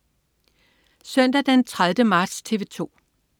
Søndag den 30. marts - TV 2: